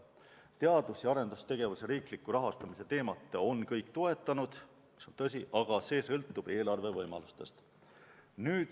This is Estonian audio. Teadus- ja arendustegevuse riikliku rahastamise teemat on kõik toetanud, tõsi, aga see sõltub eelarve võimalustest.